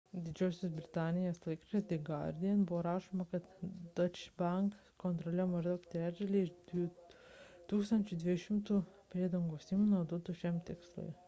didžiosios britanijos laikraštyje the guardian buvo rašoma kad deutsche bank kontroliavo maždaug trečdalį iš 1200 priedangos įmonių naudotų šiam tikslui